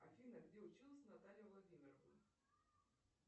афина где училась наталья владимировна